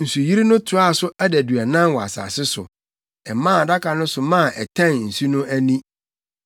Nsuyiri no toaa so adaduanan wɔ asase so. Ɛmaa Adaka no so maa ɛtɛn nsu no ani.